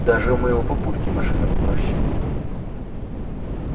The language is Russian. даже у моего папульки машина попроще